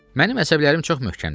Mənim əsəblərim çox möhkəmdir.